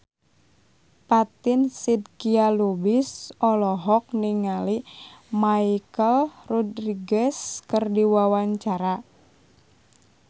Fatin Shidqia Lubis olohok ningali Michelle Rodriguez keur diwawancara